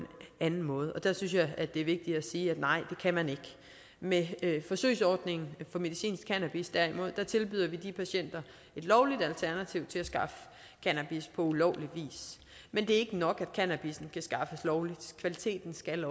anden måde og der synes jeg det er vigtigt at sige nej det kan man ikke med forsøgsordningen for medicinsk cannabis tilbyder vi derimod de patienter et lovligt alternativ til at skaffe cannabis på ulovlig vis men det er ikke nok at cannabis kan skaffes lovligt kvaliteten skal